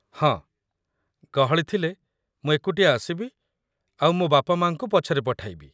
ହଁ, ଗହଳି ଥିଲେ ମୁଁ ଏକୁଟିଆ ଆସିବି ଆଉ ମୋ' ବାପା ମାଆଙ୍କୁ ପଛରେ ପଠାଇବି ।